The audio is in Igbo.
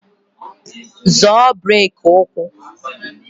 Zọọ breki ụkwụ!